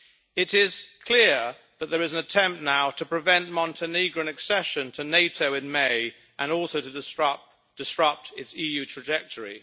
It is clear that there is an attempt now to prevent Montenegrin accession to NATO in May, and also to disrupt its EU trajectory.